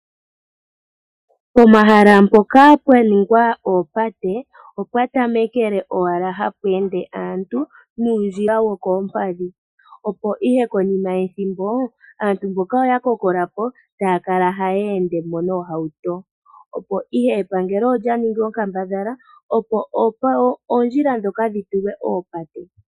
Pomahala mpoka pwa ningwa oopate opwa tamekele owala hapu ende aantu nuundjila wokoompadhi, opo ihe konima yethimbo aantu mboka oya kokola po, taya kala haya ende mo noohauto. Opo ihe epangelo olya ningi onkambadhala opo oondjila ndhoka dhi tulwe oopate.